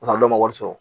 man wari sɔrɔ